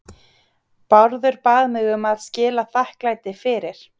BÁRÐUR BAÐ MIG AÐ SKILA ÞAKKLÆTI FYRIR